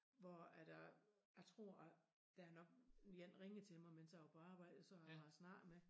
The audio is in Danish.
Hvor at øh jeg tror at der er nok en ringede til mig mens jeg var på arbejde som jeg har snakket med